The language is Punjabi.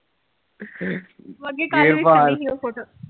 ਹ ਅੱਗੇ